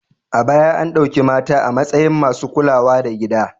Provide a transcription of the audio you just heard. A baya an ɗauki mata a matsayin masu kulawa da gida.